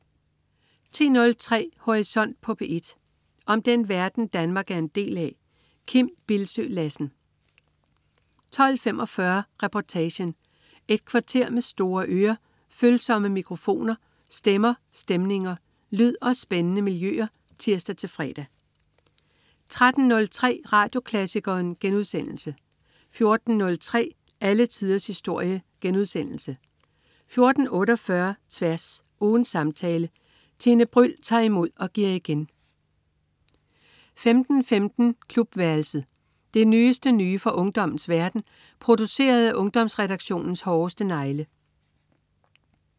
10.03 Horisont på P1. Om den verden, Danmark er en del af. Kim Bildsøe Lassen 12.45 Reportagen. Et kvarter med store ører, følsomme mikrofoner, stemmer, stemninger, lyd og spændende miljøer (tirs-fre) 13.03 Radioklassikeren* 14.03 Alle tiders historie* 14.48 Tværs. Ugens samtale. Tine Bryld tager imod og giver igen 15.15 Klubværelset. Det nyeste nye fra ungdommens verden, produceret af Ungdomsredaktionens hårdeste negle